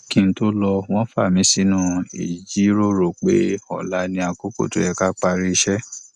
kí n tó lọ wọn fa mí sínú ìjíròrò pé ọla ni àkókò tó yẹ ká parí iṣẹ